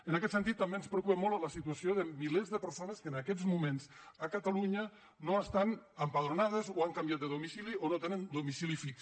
en aquest sentit també ens preocupa molt la situació de milers de persones que en aquests moments a catalunya no estan empadronades o han canviat de domicili o no tenen domicili fix